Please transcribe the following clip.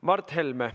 Mart Helme, palun!